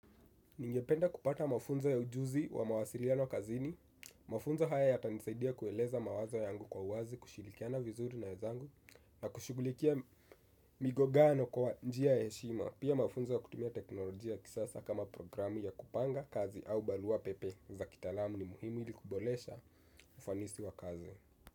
Ningependa kupata mafunzo ya ujuzi wa mawasiliano kazini, mafunzo haya yata nisaidia kueleza mawazo yangu kwa uwazi, kushirikiana vizuri na wenzangu, na kushughulikia migongano kwa njia ya heshima, pia mafunzo ya kutumia teknolojia kisasa kama programu ya kupanga kazi au barua pepe za kitalaamu ni muhimu ili kuboresha ufanisi wa kazi.